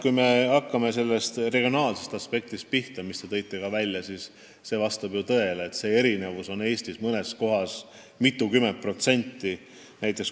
Kui me hakkame pihta regionaalsest aspektist, mida te nimetasite, siis vastab tõele, et erinevus tööhõives on üle Eesti mitukümmend protsenti.